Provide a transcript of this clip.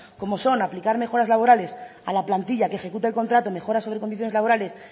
como son aplicar mejoras laborales a la plantilla que ejecute el contrato mejoras sobre condiciones laborales